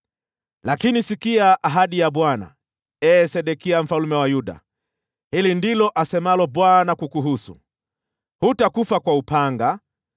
“ ‘Lakini sikia ahadi ya Bwana , ee Sedekia mfalme wa Yuda. Hili ndilo asemalo Bwana kukuhusu: Hutakufa kwa upanga,